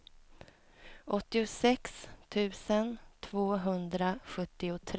åttiosex tusen tvåhundrasjuttiotre